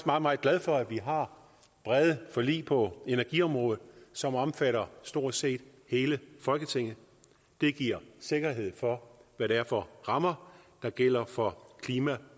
meget meget glad for at vi har brede forlig på energiområdet som omfatter stort set hele folketinget det giver sikkerhed for hvad det er for rammer der gælder for klima